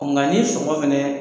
nka ni sɔngɔ fɛnɛ